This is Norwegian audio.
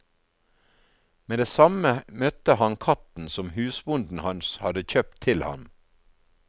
Med det samme møtte han katten som husbonden hans hadde kjøpt til ham.